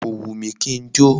Kò wù mí kí n jó.